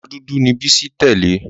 Ọmọ dúdú ni Bísí tẹ́lẹ̀.